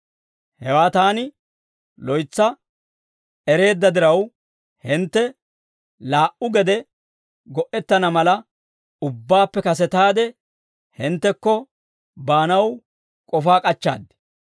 Hewaa taani loytsa ereedda diraw, hintte laa"u gede go"ettana mala, ubbaappe kasetaade hinttekko baanaw k'ofaa k'achchaad.